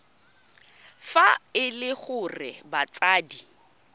fa e le gore batsadi